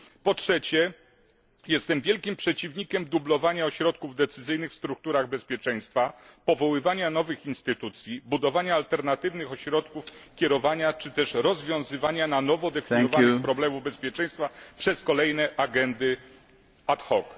Po trzecie, jestem wielkim przeciwnikiem dublowania ośrodków decyzyjnych w strukturach bezpieczeństwa, powoływania nowych instytucji, budowania alternatywnych ośrodków kierowania czy też rozwiązywania na nowo zdefiniowanych problemów bezpieczeństwa przez kolejne agendy ad hoc